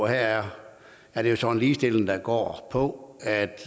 her er det jo så en ligestilling der går på at